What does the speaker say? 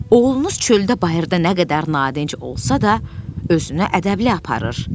Oğlunuz çöldə bayırda nə qədər nadinc olsa da, özünü ədəbli aparır.